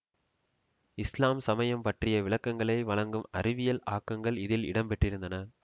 இஸ்லாம் சமயம் பற்றிய விளக்கங்களை வழங்கும் அறிவியல் ஆக்கங்கள் இதில் இடம்பெற்றிருந்தன